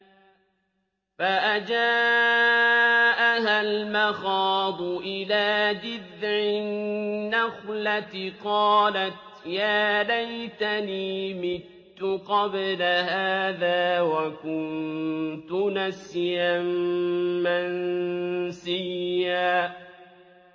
فَأَجَاءَهَا الْمَخَاضُ إِلَىٰ جِذْعِ النَّخْلَةِ قَالَتْ يَا لَيْتَنِي مِتُّ قَبْلَ هَٰذَا وَكُنتُ نَسْيًا مَّنسِيًّا